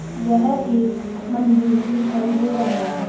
यह एक मंदिर दिखाई दे रहा है।